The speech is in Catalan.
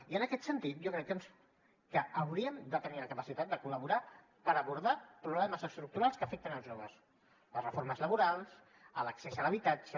i en aquest sentit jo crec que hauríem de tenir la capacitat de col·laborar per abordar problemes estructurals que afecten els joves les reformes laborals l’accés a l’habitatge